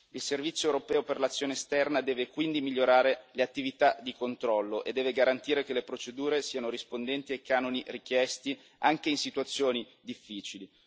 Il Servizio europeo per l'azione esterna deve quindi migliorare le attività di controllo e deve garantire che le procedure siano rispondenti ai canoni richiesti, anche in situazioni difficili.